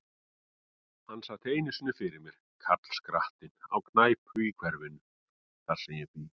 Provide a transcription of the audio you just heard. Hann sat einu sinni fyrir mér, karlskrattinn, á knæpu í hverfinu, þar sem ég bý.